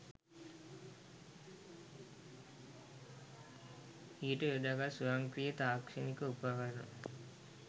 ඊට යොදාගත් ස්වයංක්‍රීය තාක්ෂණික උපකරණ